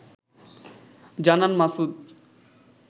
জানান মাসুদ